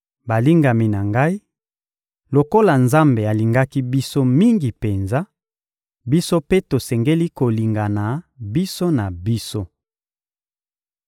Balingami na ngai, lokola Nzambe alingaki biso mingi penza, biso mpe tosengeli kolingana biso na biso.